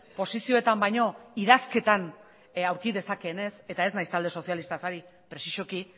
posizioetan baino idazketan aurki dezakeenez eta ez naiz talde sozialistaz ari prezisoki